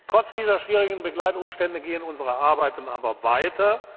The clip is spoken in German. Trotz dieser schwierigen Begleitumstände gehen unsere Arbeiten aber weiter.